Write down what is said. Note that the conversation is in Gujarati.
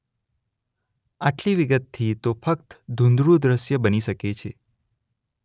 આટલી વિગતથી તો ફકત ધુંધળું દશ્ય બની શકે છે.